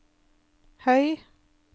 høy